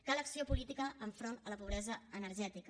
cal acció política enfront de la pobresa energètica